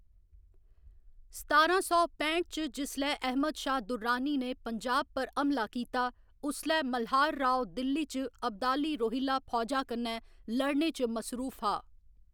सतारां सौ पैंठ च जिसलै अहमद शाह दुर्रानी ने पंजाब पर हमला कीता, उसलै मल्हार राव दिल्ली च अब्दाली रोहिल्ला फौजा कन्नै लड़ने च मसरूफ हा।